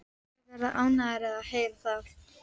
Þeir verða ánægðir að heyra það.